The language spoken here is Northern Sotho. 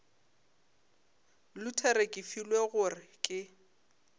luthere ke filwe gore ke